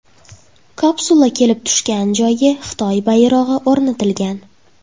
Kapsula kelib tushgan joyga Xitoy bayrog‘i o‘rnatilgan.